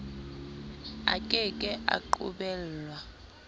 a ke ke a qobellwa